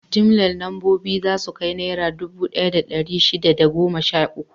Jimllar lambobin za su kai Naira dubu ɗaya da ɗari shida da goma sha uku.